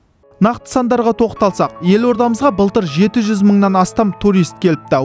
нақты сандарға тоқталсақ елордамызға былтыр жеті жүз мыңнан астам турист келіпті